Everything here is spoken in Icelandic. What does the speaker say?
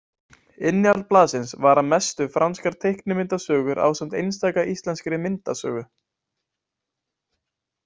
Innihald blaðsins var að mestu franskar teiknimyndasögur ásamt einstaka íslenskri myndasögu.